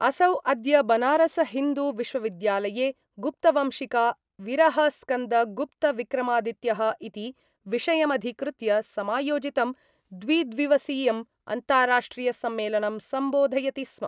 असौ अद्य बनारस हिन्दू विश्वविद्यालये गुप्तवंशिका विरहस्कन्दगुप्तविक्रमादित्यः इति विषयमधिकृत्य समायोजितं द्विद्विवसीयम् अन्ताराष्ट्रियसम्मेलनं सम्बोधयति स्म।